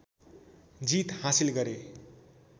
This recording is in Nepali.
जित हाँसिल गरे